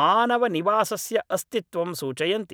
मानवनिवासस्य अस्तित्वं सूचयन्ति